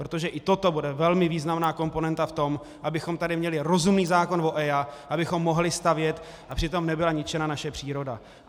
Protože i toto bude velmi významná komponenta v tom, abychom tady měli rozumný zákon o EIA, abychom mohli stavět a přitom nebyla ničena naše příroda.